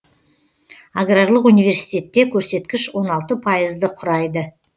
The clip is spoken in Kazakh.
аграрлық университетте көрсеткіш он алты пайызды құрайды